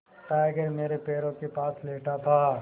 tiger मेरे पैरों के पास लेटा था